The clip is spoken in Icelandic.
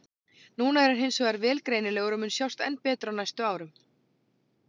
Núna er hann hins vegar vel greinilegur og mun sjást enn betur á næstu árum.